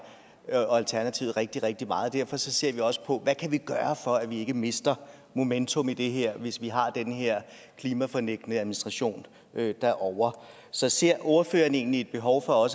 og alternativet rigtig rigtig meget derfor ser vi også på hvad vi kan gøre for at vi ikke mister momentum i det her hvis vi har den her klimafornægtende administration derovre så ser ordføreren egentlig et behov for